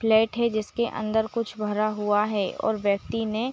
plate है जिसके अंदर कुछ भरा हुआ है और व्यक्ति ने--